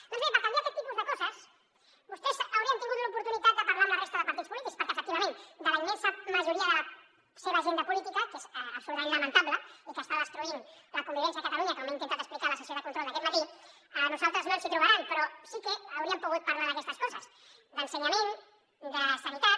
doncs bé per canviar aquest tipus de coses vostès haurien tingut l’oportunitat de parlar amb la resta de partits polítics perquè efectivament de la immensa majoria de la seva agenda política que és absolutament lamentable i que està destruint la convivència a catalunya com he intentat explicar a la sessió de control d’aquest matí a nosaltres no ens hi trobaran però sí que hauríem pogut parlar d’aquestes coses d’ensenyament de sanitat